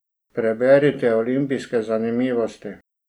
Preberite olimpijske zanimivosti!